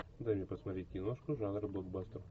дай мне посмотреть киношку жанра блокбастер